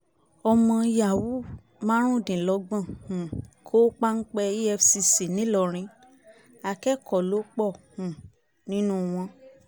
ọmọ yahoo márùndínlọ́gbọ̀n um kó páńpẹ́ efcc nìlọrin akẹ́kọ̀ọ́ ló pọ̀ um nínú wọn